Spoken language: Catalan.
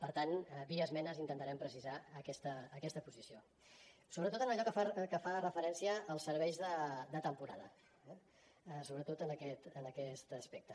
per tant via esmenes intentarem precisar aquesta posició sobretot en allò que fa referència als serveis de temporada eh sobretot en aquest aspecte